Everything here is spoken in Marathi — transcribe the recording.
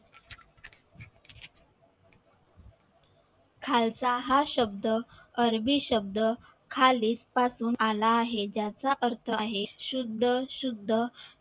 खालचा हा शब्द अरबी शब्द खाली पाठवून आला आहे त्याचा अर्थ आहे शुद्ध शुद्ध